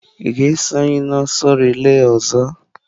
Ị ga-eso anyị n'ọsọ reila ọzọ.